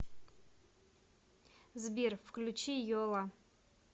сбер включи йола